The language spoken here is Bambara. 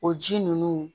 O ji ninnu